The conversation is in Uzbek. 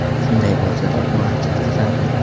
Shunday bo‘lsa-da, u ancha qiziqarli.